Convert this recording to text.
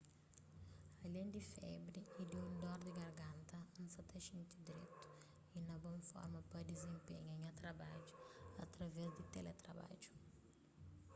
alén di febri y di un dor di garganta n sa ta xinti dretu y na bon forma pa dizenpenha nha trabadju através di teletrabadju